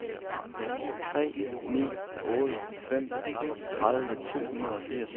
tre ni otte fem tredive to hundrede og firs